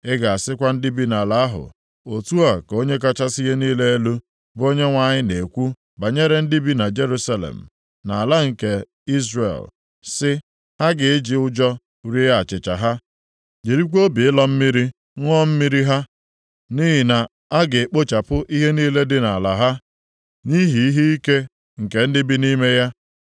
Ị ga-asịkwa ndị bi nʼala ahụ, ‘Otu a ka Onye kachasị ihe niile elu, bụ Onyenwe anyị na-ekwu banyere ndị bi na Jerusalem, nʼala nke Izrel, sị, Ha ga-eji ụjọ rie achịcha ha, jirikwa obi ịlọ mmiri ṅụọ mmiri ha, nʼihi na a ga-ekpochapụ ihe niile dị nʼala ha, nʼihi ihe ike nke ndị bi nʼime ya.